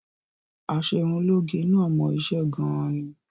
Aṣerunlóge náà mọ iṣẹ́ gan-an ni